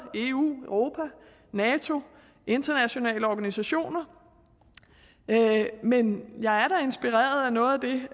eu europa nato internationale organisationer men jeg er da inspireret af noget af det